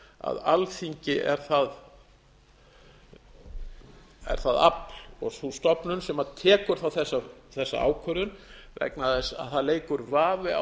að alþingi er það afl og sú stofnun sem tekur þá þessa ákvörðun vegna þess að það leikur vafi á